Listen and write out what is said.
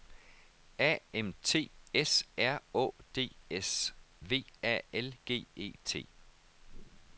A M T S R Å D S V A L G E T